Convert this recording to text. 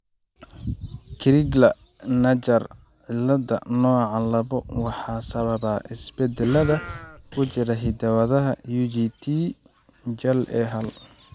Crigler Najjar cilada, nooca labo waxaa sababa isbeddellada ku jira hidda-wadaha UGT jal A hal.